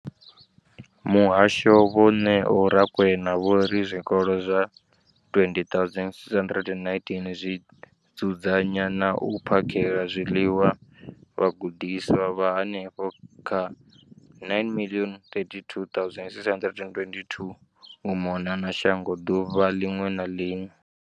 Muhasho, vho Neo Rakwena, vho ri zwikolo zwa 20 619 zwi dzudzanya na u phakhela zwiḽiwa vhagudiswa vha henefha kha 9 032 622 u mona na shango ḓuvha ḽiṅwe na ḽiṅwe.